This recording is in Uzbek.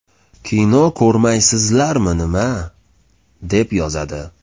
Kino ko‘rmaysizlarmi nima?”, deb yozadi.